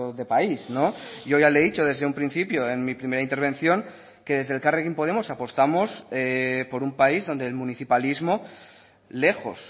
de país yo ya le he dicho desde un principio en mi primera intervención que desde elkarrekin podemos apostamos por un país donde el municipalismo lejos